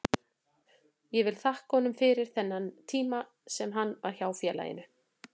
Ég vil þakka honum fyrir allan þennan tíma sem hann var hjá félaginu.